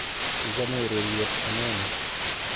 Ichome ureriet anonoo?